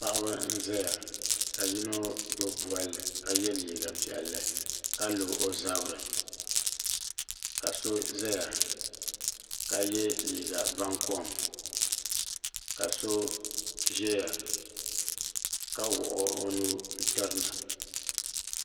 paɣa n zaya ka hino gbubi bolli ka hɛ liiga piɛli ka lo o zabiri ka do zaya kayɛ liiga bankom ka so zɛya ka wuɣi o nuu n tirina